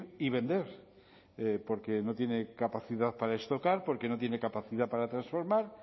y vender porque no tiene capacidad para porque no tiene capacidad para transformar